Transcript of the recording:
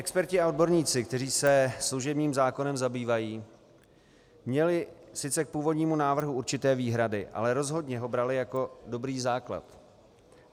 Experti a odborníci, kteří se služebním zákonem zabývají, měli sice k původnímu návrhu určité výhrady, ale rozhodně ho brali jako dobrý základ.